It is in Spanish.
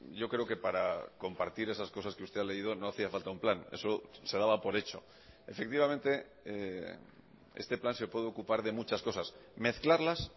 yo creo que para compartir esas cosas que usted ha leído no hacía falta un plan eso se daba por hecho efectivamente este plan se puede ocupar de muchas cosas mezclarlas